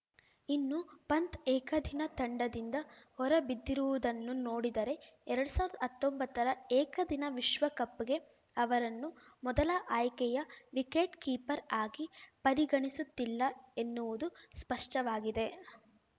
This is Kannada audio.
ಇನ್ನು ಪಂತ್‌ ಏಕದಿನ ತಂಡದಿಂದ ಹೊರಬಿದ್ದಿರುವುದನ್ನು ನೋಡಿದರೆ ಎರಡ್ ಸಾವಿರ್ದಾ ಹತ್ತೊಂಬತ್ತರ ಏಕದಿನ ವಿಶ್ವಕಪ್‌ಗೆ ಅವರನ್ನು ಮೊದಲ ಆಯ್ಕೆಯ ವಿಕೆಟ್‌ ಕೀಪರ್‌ ಆಗಿ ಪರಿಗಣಿಸುತ್ತಿಲ್ಲ ಎನ್ನುವುದು ಸ್ಪಷ್ಟವಾಗಿದೆ